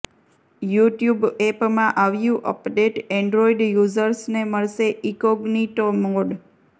YouTube એપમાં આવ્યું update Android યુઝર્સને મળશે ઈકોગ્નિટો મોડ